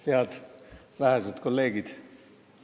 Head vähesed kolleegid!